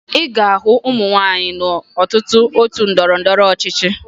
Ị ga-ahụ ụmụ nwaanyị n'ọtụtụ otu ndọrọndọrọ ọchịchị